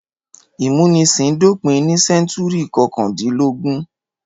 Ìmúnisìn dópin ní sẹ́ńtúrì kọkàndínlógún.